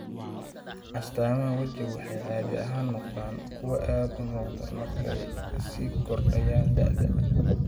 Astaamaha wejigu waxay caadi ahaan noqdaan kuwo aad u muuqda marka ay sii kordhayaan da'da.